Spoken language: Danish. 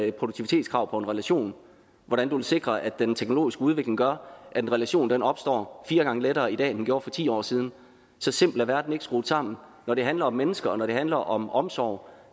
et produktivitetskrav på en relation hvordan du vil sikre at den teknologiske udvikling gør at en relation opstår fire gange lettere i dag end den gjorde for ti år siden så simpelt er verden ikke skruet sammen når det handler om mennesker og når det handler om omsorg